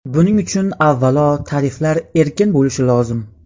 Buning uchun, avvalo, tariflar erkin bo‘lishi lozim.